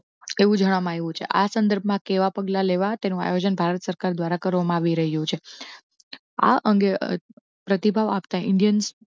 એવું જણાવાયું છે. આ સંદર્ભમાં કેવા પગલાં લેવા તે નું આયોજન ભારત સરકાર દ્વારા કરવામાં આવી રહ્યું છે. આ અંગે પ્રતિભાવ આપતા indians. Indians